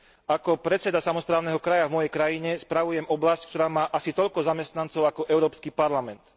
Ako predseda samosprávneho kraja v mojej krajine spravujem oblasť, ktorá má asi toľko zamestnancov ako Európsky parlament.